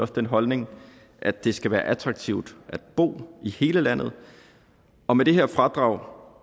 den holdning at det skal være attraktivt at bo i hele landet og med det her fradrag